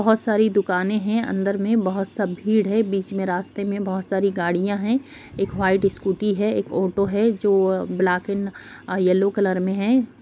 बहुत सारी दुकाने हैं अंदर में बहुत सा भीड़ है बीच में रास्ते में बहुत सारी गाड़ियां है एक व्हाइट स्कूटी है एक ऑटो है जो ब्लॉक एंड येलो कलर में है।